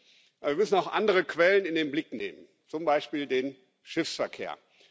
7. Aber wir müssen auch andere Quellen in den Blick nehmen, zum Beispiel den Schiffsverkehr.